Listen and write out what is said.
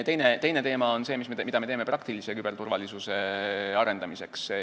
Teine teema on see, mida me teeme praktilise küberturvalisuse arendamiseks.